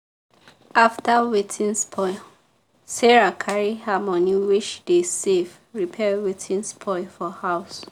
after wetin spoil sarah carry her money wey she dey save repair wetin spoil for house